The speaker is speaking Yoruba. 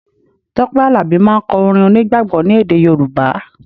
Tọ́pẹ́ Àlàbí máà ń kọ orin onígbàgbọ́ ni èdè Yorùbá